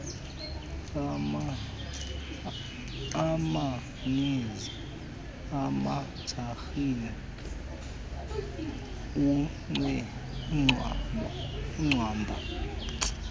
amanizi imajarini ucwambu